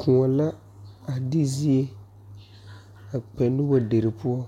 Kõɔ la a de zie a kpɛ nobɔ derre poɔ